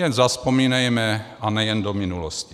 Jen zavzpomínejme, a nejen do minulosti.